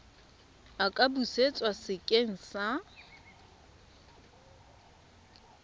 a ka busetswa sekeng sa